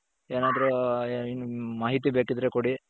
ಏನಾದ್ರು ಹ್ಮ್ ಮಾಹಿತಿ ಬೇಕಿದ್ರೆ ಕೊಡಿ.